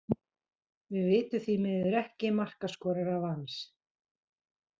Við vitum því miður ekki markaskorara Vals.